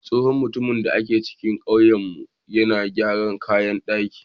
Tsohon mutumin da ke cikin ƙauyenmu yana gyaran kayan ɗaki.